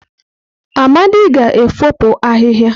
Amadi ga-efopụ ahịhịa.